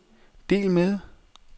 del med